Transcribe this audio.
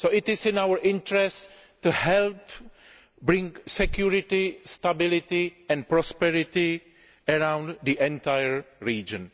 So it is in our interests to help bring security, stability and prosperity to the entire region.